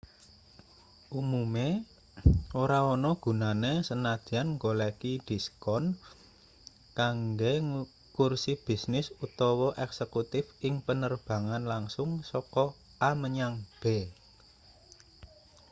umume ora ana gunane sanadyan goleki diskon kanggo kursi bisnis utawa eksekutif ing penerbangan langsung saka a menyang b